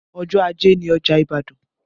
Ọjọ́ ajé ni ọjà Ibadan